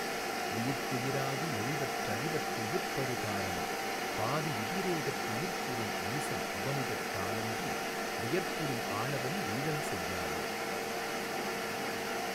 உயிர்க்குயிராகி யொழிவற் றழிவற் றயிர்ப்பறு காரணோ பாதி விதிரேகத் துயிர்ப்புறும் ஈசன் உபமிதத்தாலன்றி வியர்ப்புறும் ஆணவம் வீடல்செய்யாவே.